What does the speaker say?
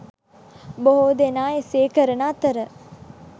බොහෝ දෙනා එසේ කරන අතර